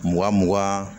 Mugan mugan